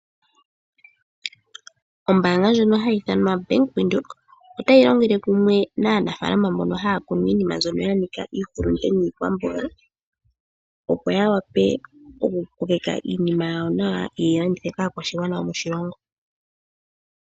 Ombaanga ndjono hayi ithanwa Bank Windhoek otayi longele kumwe naanafaalama mbono haya kunu iinima mbyono ya nika iihulunde niikwamboga, opo ya vule okukokeka iinima yawo nawa ye yi landithe kaakwashigwana yomoshilongo.